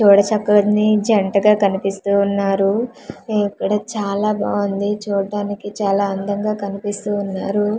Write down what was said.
చూడ చక్కని జంటగా కన్పిస్తూవున్నారూ ఇక్కడ చాలా బావుంది చూడ్డానికి చాలా అందంగా కన్పిస్తూవున్నారు .